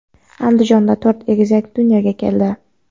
Andijonda to‘rt egizak dunyoga keldi.